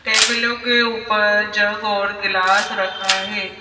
टेबलों के ऊपर जग और गिलास रखा है।